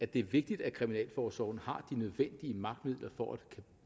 det er vigtigt at kriminalforsorgen har de nødvendige magtmidler for at